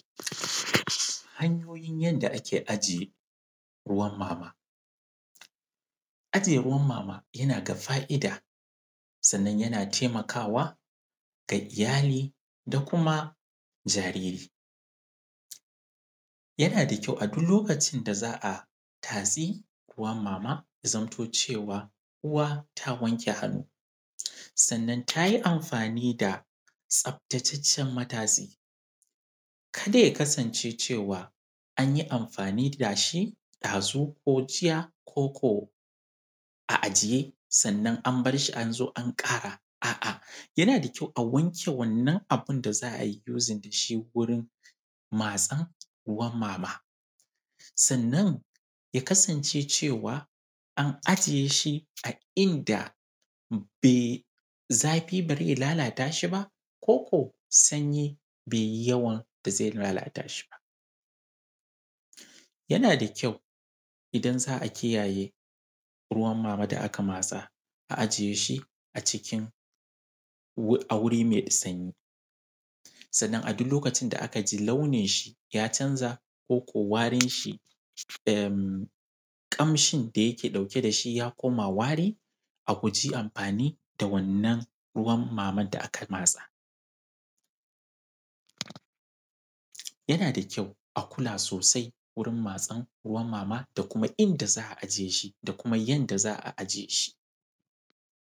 Hanyoyin yanda ake ajiye, ruwan mama. Ajiye ruwan mama, yana da fa’ida, sannan yana taimakawa, ga iyali da kuma jariri. Yana da kyau a duk lokacin da za a tatsi ruwan mama, ya zanto cewa uwa ta wanke hannu, sannan ta yi amfani da tsaftataccen matatsi. Kada ya kasance cewa, an yi amfani da shi ɗazu, ko jiya, ko ko a ajiye sannan an bar shi an zo an ƙara. A’a, yana da kyau a wanke wannan abin da za a yi using da shi wurin matsan ruwan mama, sannan, ya kasance cewa, an ajiye shi a inda be, zafi ba zai lalata shi ba ko kuwa sanyi bai yi yawan da zai lalata shi ba. Yana da kyau, idan za a kiyaye ruwan mama da aka matsa, a ajiye shi a cikin, wu, a wuri mai sanyi. Sannan a duk lokacin da aka ji launinshi ya canza, ko ko warinshi, em, ƙamshin da yake dauke da shi ya koma wari, a guji amfani da wannan ruwan maman da aka matsa. Yana da kyau a kula sosai wurin matsan ruwan mama da kuma inda za a ajiye shi da kuma yanda za a ajiye shi.